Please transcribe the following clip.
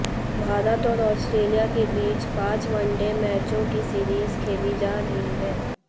भारत और आस्ट्रेलिया के बीच पांच वनडे मैचों की सीरीज खेली जा रही है